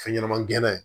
Fɛn ɲɛnɛman gɛnɛ ye